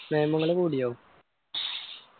നിയമങ്ങള് കൂടിയോ